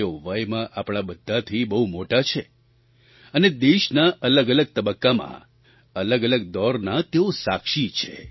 તેઓ વયમાં આપણા બધાથી બહુ મોટા છે અને દેશના અલગઅલગ તબક્કામાં અલગઅલગ દૌરનાં તેઓ સાક્ષી છે